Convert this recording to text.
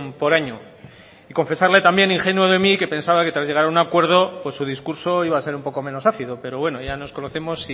por año confesarle también ingenuo de mí que pensaba que tras llegar a un acuerdo su discurso iba a ser un poco menos ácido pero bueno ya nos conocemos